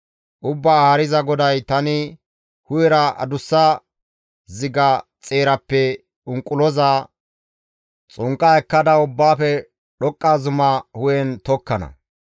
«Ubbaa Haariza GODAY, ‹Tani hu7era adussa ziga xeerappe unquloza xunqqa ekkada ubbaafe dhoqqa zuma hu7en tokkana.